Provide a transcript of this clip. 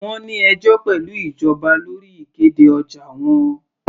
Wọ́n ní ẹjọ́ pẹ̀lú ìjọba lórí ìkéde ọjà wọn.